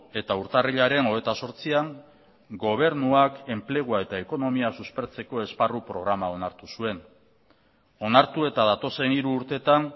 eta urtarrilaren hogeita zortzian gobernuak enplegua eta ekonomia suspertzeko esparru programa onartu zuen onartu eta datozen hiru urteetan